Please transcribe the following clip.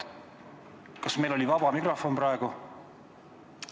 Kas meil oli vaba mikrofon praegu?